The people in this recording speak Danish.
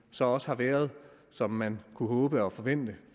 så også har været som man kunne håbe og forvente